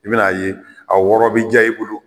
I bɛn'a ye a wɔrɔ bɛ diya i bolo